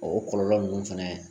O kɔlɔlɔ ninnu fɛnɛ